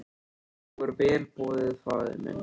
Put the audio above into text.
Nú er vel boðið faðir minn.